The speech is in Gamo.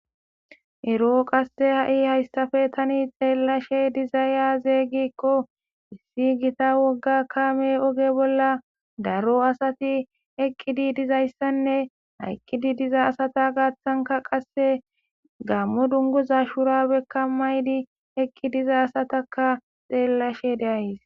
ero haysan ha, I ta xelishe dizay aze giko issi gitta woga gamey oge bola dizaysanne ha eqidi diza asata gathan gamo dunguza shuqarabeka mayidi diza asataka xellashe de'aysi